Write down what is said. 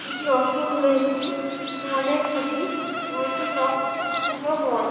এটি রাস্তার ধারের একটি মল - এর ছবি। মল - টির নাম পূজা মল ।